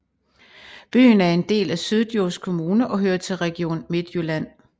Byen er en del af Syddjurs Kommune og hører til Region Midtjylland